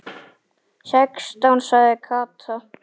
Sextán sagði Kata.